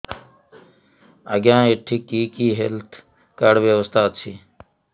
ଆଜ୍ଞା ଏଠି କି କି ହେଲ୍ଥ କାର୍ଡ ବ୍ୟବସ୍ଥା ଅଛି